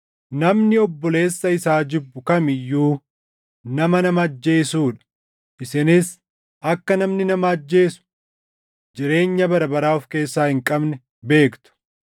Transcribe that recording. Namni obboleessa isaa jibbu kam iyyuu nama nama ajjeesuu dha; isinis akka namni nama ajjeesu jireenya bara baraa of keessaa hin qabne beektu.